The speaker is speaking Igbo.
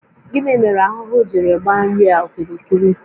Gịnị mere ahụhụ jiri gbaa nri a okirikiri?